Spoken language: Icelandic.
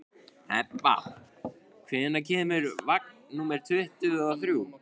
Hebba, hvenær kemur vagn númer tuttugu og þrjú?